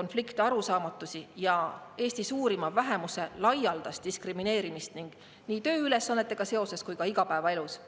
konflikte ja arusaamatusi, ning Eesti suurima vähemuse laialdast diskrimineerimist nii tööülesannetega seoses kui ka igapäevaelus.